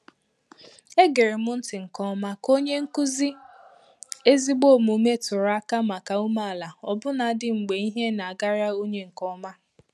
Egere m ntị nke ọma ka onye nkuzi ezigbo omume tụrụ aka màkà umeala ọbụnadị mgbe ihe na-agara onye nke ọma.